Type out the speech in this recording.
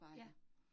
Ja